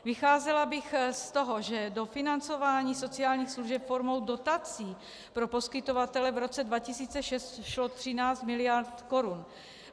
Vycházela bych z toho, že do financování sociálních služeb formou dotací pro poskytovatele v roce 2006 šlo 13 miliard korun.